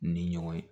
Ni ɲɔgɔn ye